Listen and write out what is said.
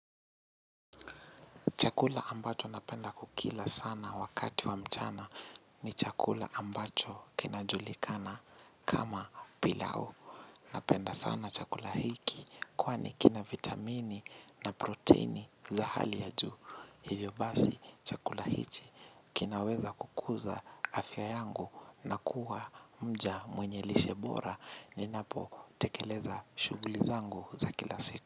Chakula ambacho napenda kukila sana wakati wa mchana ni chakula ambacho kinajulikana kama pilau. Napenda sana chakula hiki. Kwani kina vitamini na proteini. Za hali ya juu hivyo basi chakula hiki. Kinaweza kukuza afya yangu na kuwa mja mwenye lishe bora ninapotekeleza shughuli zangu za kila siku.